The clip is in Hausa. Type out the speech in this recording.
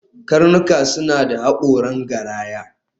Karnuka suna da haƙoran garaya